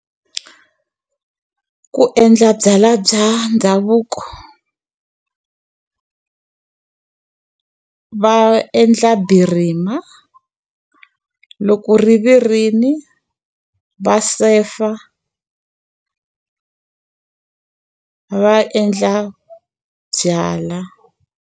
Ku endla byalwa bya ndhavuko va endla birima, loko ri virile, va sefa va endla byalwa.